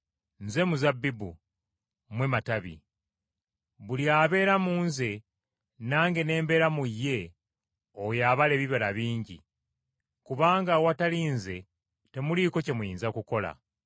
“Nze muzabbibu, mmwe matabi. Buli abeera mu Nze nange ne mbeera mu ye oyo abala ebibala bingi. Kubanga awatali Nze temuliiko kye muyinza kukola.